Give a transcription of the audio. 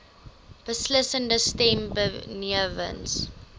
beslissende stem benewens